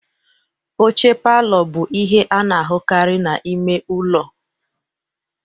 Oche palor bụ ihe a na-ahụkarị na ime ụlọ.